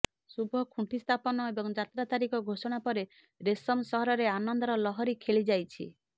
ଶୁଭ ଖୁଣ୍ଟି ସ୍ଥାପନ ଏବଂ ଯାତ୍ରା ତାରିଖ ଘୋଷୋଣା ପରେ ରେଶମ ସହରରେ ଆନନ୍ଦର ଲହରୀ ଖେଳି ଯାଇଛି